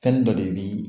Fɛn dɔ de bi